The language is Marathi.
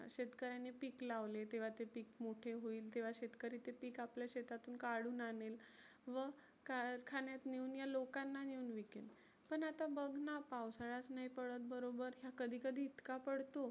शेतकऱ्यानी पिक लावले तेव्हा ते पिक मोठे होईल तेव्हा शेतकरी ते पिक आपल्या शेतातुन काढुन आनेल. व कारखान्यात नेऊन या लोकांना विकेल. पण आता बघना पावसाळाच नाही पडत बरोबर. तर कधी कधी इतका पडतो.